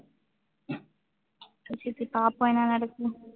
சரி சித்தி பாப்போம் என்ன நடக்குதுன்னு